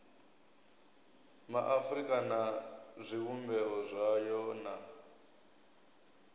maafurika na zwivhumbeo zwayo na